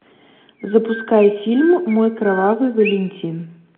запускай фильм мой кровавый валентин